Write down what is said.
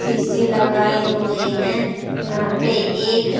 शीशे लगाए हुए हैं यहां पे एक--